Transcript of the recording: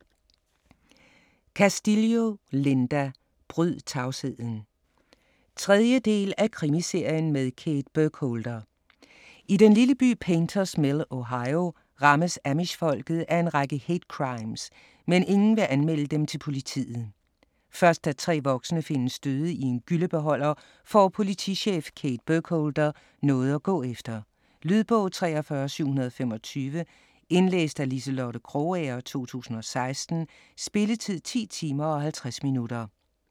Castillo, Linda: Bryd tavsheden 3. del af Krimiserien med Kate Burkholder. I den lille by Painters Mill, Ohio, rammes amish-folket af en række hate-crimes, men ingen vil anmelde dem til politiet. Først da 3 voksne findes døde i en gyllebeholder får politichef Kate Burkholder noget at gå efter. Lydbog 43725 Indlæst af Liselotte Krogager, 2016. Spilletid: 10 timer, 50 minutter.